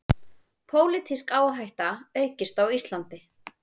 Pólitísk áhætta aukist á Íslandi